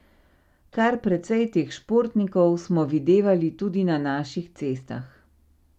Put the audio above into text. Kar precej teh športnikov smo videvali tudi na naših cestah.